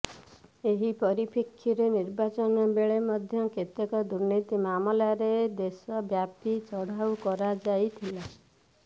ଏହି ପରିପ୍ରେକ୍ଷୀରେ ନିର୍ବାଚନ ବେଳେ ମଧ୍ୟ କେତେକ ଦୁର୍ନୀତି ମାମଲାରେ ଦେଶବ୍ୟାପୀ ଚଢ଼ଉ କରାଯାଇଥିଲା